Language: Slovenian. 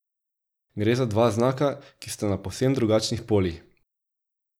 Gre za dva znaka, ki sta na povsem drugačnih polih.